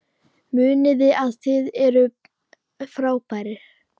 Munið að þið eruð frábær!